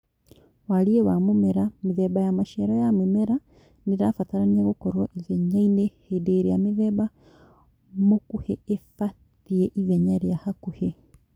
Wariĩ wa mũmera. Mĩthemba ya maciaro ya mĩmera nĩrabatarania gũkorwo ithenya inene hĩndĩ ĩrĩa mĩthemba mũkuhĩ ibatie ithenya rĩa hakuhĩ